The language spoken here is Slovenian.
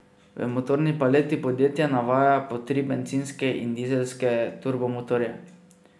V motorni paleti podjetje navaja po tri bencinske in dizelske turbo motorje.